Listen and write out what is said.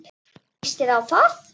Hvernig líst þér á það?